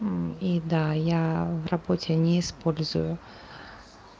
и да я в работе не использую